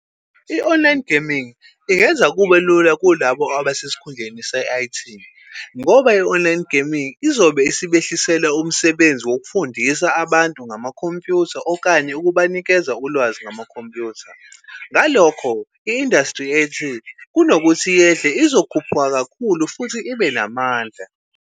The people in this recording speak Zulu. I-online gaming ingenza kube lula kulabo abasesikhundleni se-I_T ngoba i-online gaming izobe isibehlisela umsebenzi wokufundisa abantu ngamakhompyutha, okanye ukubanikeza ulwazi ngamakhompyutha. Ngalokho i-industry ye-I_T kunokuthi yehle, izokhuphuka kakhulu futhi ibe namandla.